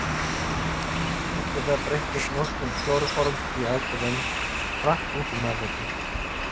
Eftir það breiddist notkun klóróforms í aðgerðum hratt út um Evrópu.